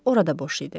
Orada boş idi.